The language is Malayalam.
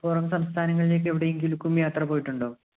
പുറം സംസ്ഥാനങ്ങളിലേക്ക് എവിടെയെങ്കിലേക്കും യാത്ര പോയിട്ടുണ്ടോ?